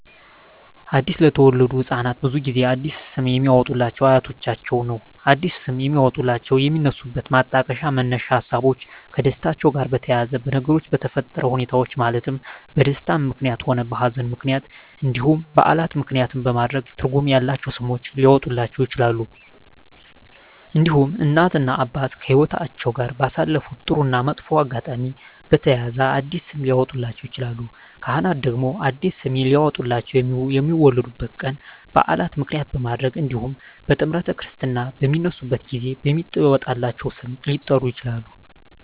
አዲስ ለተወለዱ ህፃናት ብዙውን ጊዜ አዲስ ስም የሚያወጡሏቸው አያቶቻቸውን ነው አዲስ ስም የሚያወጧላቸው የሚነሱበት ማጣቀሻ መነሻ ሀሳቦች ከደስታቸው ጋር በተያያዘ በነገሮች በተፈጠረ ሁኔታዎች ማለትም በደስታም ምክንያትም ሆነ በሀዘንም ምክንያት እንዲሁም በዓላትን ምክንያትም በማድረግ ትርጉም ያላቸው ስሞች ሊያወጡላቸው ይችላሉ። እንዲሁም እናት እና አባት ከህይወትአቸው ጋር ባሳለፉት ጥሩ እና መጥፎ አጋጣሚ በተያያዘ አዲስ ስም ሊያወጡላቸው ይችላሉ። ካህናት ደግሞ አዲስ ስም ሊያወጡላቸው የሚወለዱበት ቀን በዓል ምክንያት በማድረግ እንዲሁም ጥምረተ ክርስትና በሚነሱበት ጊዜ በሚወጣላቸው ስም ሊጠሩ ይችላሉ።